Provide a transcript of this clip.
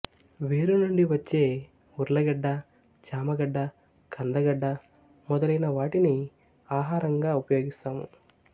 వేరు నుండి వచ్చే ఉర్లగడ్డ చామగడ్డ కందగడ్డ మొలైన వాటిని ఆహారంగా ఉపయోగిస్తాము